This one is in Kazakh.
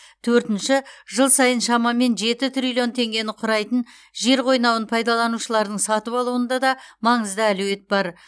төртінші жыл сайын шамамен жеті триллион теңгені құрайтын жер қойнауын пайдаланушылардың сатып алуында да маңызды әлеует бар